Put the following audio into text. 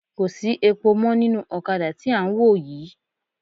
Kò sí epo mọ́ nínú ọ̀kadà tí à ń wò yii